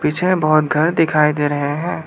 पीछे में बहोत घर दिखाई दे रहे हैं।